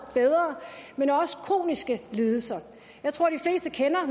bedre men også kroniske lidelser jeg tror de fleste kender